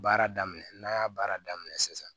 Baara daminɛ n'an y'a baara daminɛ sisan